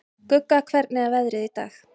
Gugga, hvernig er veðrið í dag?